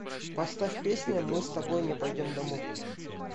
поставь песня мы с тобой не пойдем домой